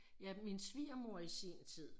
Ja min svigermor i sin tid